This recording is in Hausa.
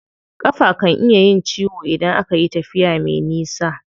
Ƙafa kan iya yin ciwo idan akayi tafiya me nisa.